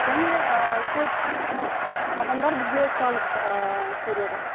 және көп адамдар бізге сұраныс береді